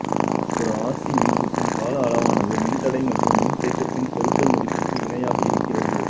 ஒரு R C மின்சுற்றின் கால அளவானது மின்தடை மற்றும் மின்தேக்கத்தின் பெருக்கல் மதிப்புக்கு இணையாக இருக்கிறது